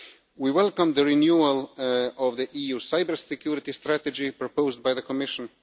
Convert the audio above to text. We welcome the renewal of the EU Cybersecurity Strategy proposed by the Commission.